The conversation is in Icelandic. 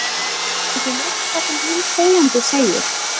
Er ekki neitt það sem hinn þegjandi segir?